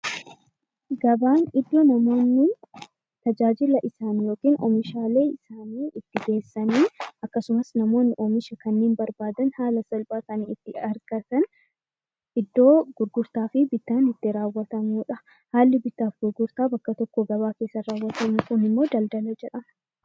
Gabaan iddoo namoonni tajaajila oomishaalee geessanii akkasumas namoonni oomisha kana barbaadan haala salphaadhaan ittiin argatan iddoo gurgurtaa fi bittaan itti raawwatudha . Haalli bittaa fi gurgurtaa bakka tokkoo gabaa keessaa raawwatu immoo daldala jedhama